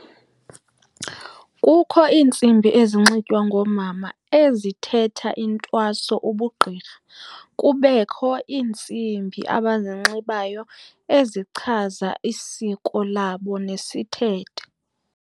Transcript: Kukho iintsimbi ezinxitywa ngoomama ezithetha intwaso ubugqirha. Kubekho iintsimbi abazinxibayo ezichaza isiko labo nesithethe.